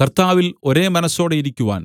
കർത്താവിൽ ഒരേ മനസ്സോടെയിരിക്കുവാൻ